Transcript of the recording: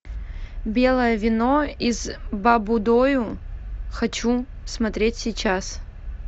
белое вино из баббудойу хочу смотреть сейчас